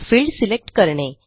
field select करणे